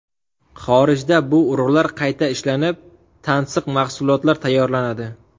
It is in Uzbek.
Xorijda bu urug‘lar qayta ishlanib, tansiq mahsulotlar tayyorlanadi.